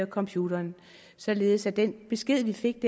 computeren således at den besked vi fik